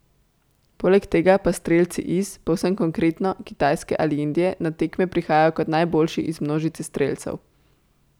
Poleg tega pa strelci iz, povsem konkretno, Kitajske ali Indije na tekme prihajajo kot najboljši iz množice strelcev.